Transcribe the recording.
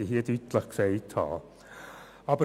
Dies möchte ich hier deutlich gesagt haben.